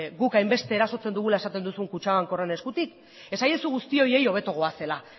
guk hainbeste erasotzen dugula esaten duzu kutxabanken horren eskutik esaiezu guzti horiei hobeto goazela